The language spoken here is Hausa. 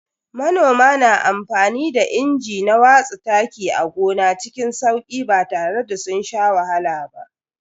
Manomai na amfani da inji na watsa taki a gona cikin sauki ba tare da sun sha wahala ba.